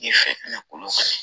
Ye fɛnna kolon kɔnɔ